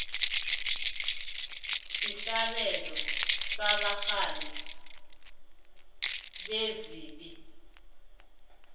sesabelo sabarhali bezepi